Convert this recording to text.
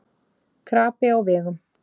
Krapi á vegum